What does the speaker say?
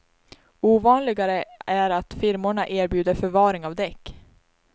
Ovanligare är att firmorna erbjuder förvaring av däck.